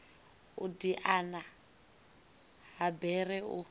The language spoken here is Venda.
u diana ha bere u